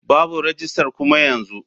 Babu rajistar kuma yanzu.